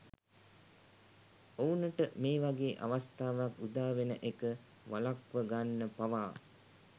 ඔවුනට මේ වගේ අවස්ථාවක් උදා වෙන එක වළක්වගන්න පවා